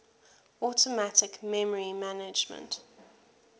automatic memory management